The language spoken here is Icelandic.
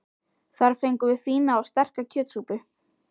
Þar fengum við fína og sterka kjötsúpu.